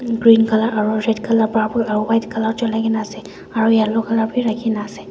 green colour aru red colour purple aru white colour chulai na ase aru white colour vi rakhi kena ase.